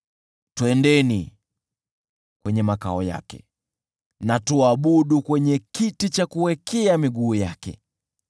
“Twendeni kwenye makao yake, na tuabudu kwenye kiti cha kuwekea miguu yake;